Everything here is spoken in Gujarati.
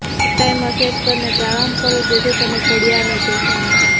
એક ટાઈમર સેટ કરીને પ્રારંભ કરો જેથી તમે ઘડિયાળને જોશો નહીં